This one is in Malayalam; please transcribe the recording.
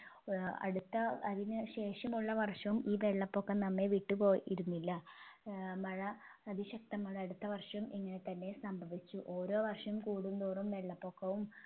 ഏർ അടുത്ത അതിന് ശേഷമുള്ള വർഷവും ഈ വെള്ളപൊക്കം നമ്മെ വിട്ടുപോയി ഇരുന്നില്ല ഏർ മഴ അതിശക്ത മഴ അടുത്ത വർഷം ഇങ്ങനെത്തന്നെ സംഭവിച്ചു ഓരോ വർഷം കൂടുന്തോറും വെള്ളപ്പൊക്കവും